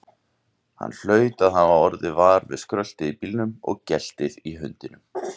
Hann hlaut að hafa orðið var við skröltið í bílnum og geltið í hundinum.